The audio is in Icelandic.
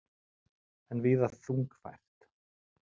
Enn víða þungfært